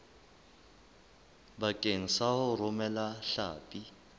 bakeng sa ho romela hlapi